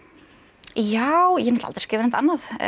já ég hef aldrei skrifað neitt annað